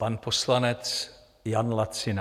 Pan poslanec Jan Lacina.